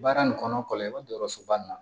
Baara nin kɔnɔ kɔlɔsi ba ma